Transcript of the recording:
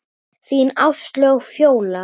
Þín Áslaug Fjóla.